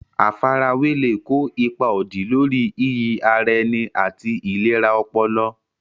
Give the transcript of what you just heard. Àfarawé lè kó ipa òdì lórí iyì ara ẹni àti ìlera ọpọlọ.